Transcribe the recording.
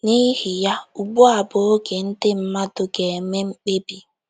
N'ihi ya, ugbu a bụ oge ndị mmadụ ga-eme mkpebi